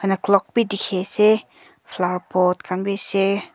clock bi dekhi ase flower pot khan bi ase.